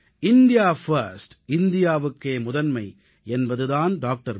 India first இந்தியாவுக்கே முதன்மை என்பது தான் டாக்டர்